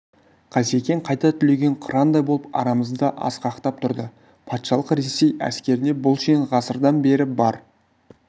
қасекең қайта түлеген қырандай болып арамызда асқақтап тұрды патшалық ресей әскерінде бұл шен ғасырдан бері бар